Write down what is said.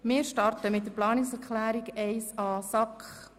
Wir beginnen mit der Planungserklärung 1a der SAK.